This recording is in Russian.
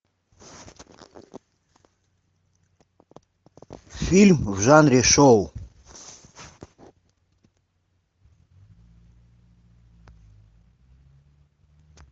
фильм в жанре шоу